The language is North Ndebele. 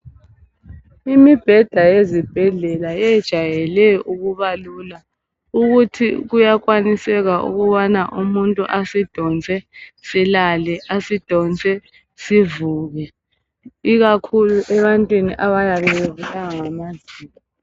Imibheda yezibhedlela yejayele ukuba lula ukuthi kuyakwaniseka ukubana umuntu asidonse silale asidonse sivuke ikakhulu ebantwini abayabe bebulawa ngamazinyo